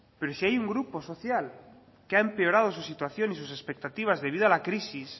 pero si hay un grupo social que ha empeorado su situación y sus expectativas debido a la crisis